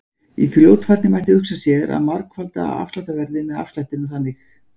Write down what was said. Í fljótfærni mætti hugsa sér að margfalda afsláttarverðið með afslættinum þannig: